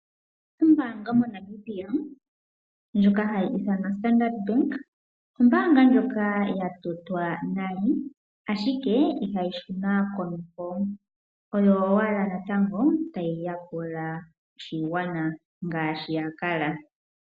Ombaanga moNamibia ndjoka hayi ithanwa Standard Bank, ombaanga ndjoka yatotwa nale ashike ihayi shuna konima oyo owala natango tayi yakula oshigwana ngaashi yakala.